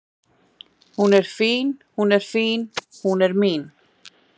Hún er fín hún er fín, hún er mín